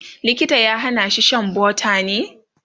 likita ya Hana shi Shan butter ne?